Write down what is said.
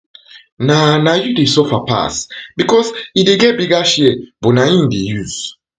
na na you dey suffer pass bicos e dey get di bigger share but na you im dey use